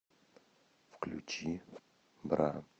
включи бра